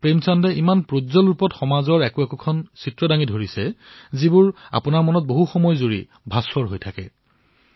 প্ৰেমচন্দই নিজৰ কাহিনীত সমাজৰ যি যথাযথ চিত্ৰ অংকন কৰিছে পঢ়াৰ সময়ত তাৰে ছবি মনত অংকিত হৈ ৰয়